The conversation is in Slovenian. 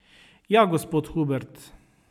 Ja, gospod Hubert.